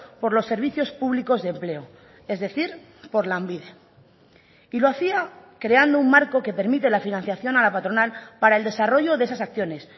por los servicios públicos de empleo es decir por lanbide y lo hacía creando un marco que permite la financiación a la patronal para el desarrollo de esas acciones